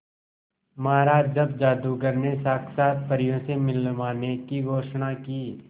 महाराज जब जादूगर ने साक्षात परियों से मिलवाने की घोषणा की